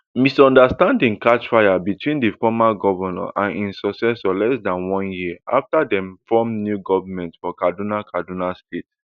misunderstandings catch fire between di former govnor and im successor less dan one year afta dem form new goment for kaduna kaduna state